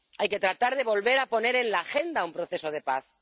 Hay que tratar de volver a poner en la agenda un proceso de paz.